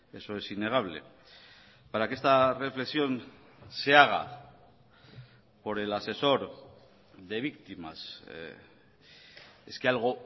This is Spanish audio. eso es innegable para que esta reflexión se haga por el asesor de víctimas es que algo